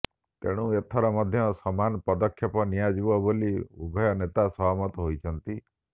ତେଣୁ ଏଥର ମଧ୍ୟ ସମାନ ପଦକ୍ଷେପ ନିଆଯିବ ବୋଲି ଉଭୟ ନେତା ସହମତ ହୋଇଛନ୍ତି